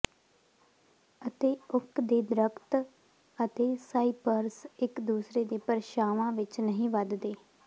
ਅਤੇ ਓਕ ਦੇ ਦਰਖ਼ਤ ਅਤੇ ਸਾਈਪਰਸ ਇਕ ਦੂਸਰੇ ਦੇ ਪਰਛਾਵਾਂ ਵਿਚ ਨਹੀਂ ਵਧਦੇ